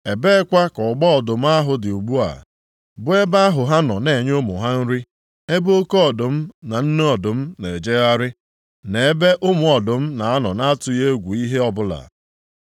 Ebeekwa ka ọgba ọdụm ahụ dị ugbu a, bụ ebe ahụ ha na-anọ enye ụmụ ha nri, ebe oke ọdụm na nne ọdụm na-ejegharị, na ebe ụmụ ọdụm na-anọ na-atụghị egwu ihe ọbụla?